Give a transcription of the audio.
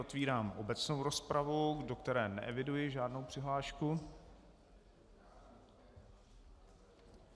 Otvírám obecnou rozpravu, do které neeviduji žádnou přihlášku.